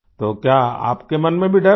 तो क्या आपके मन में भी डर है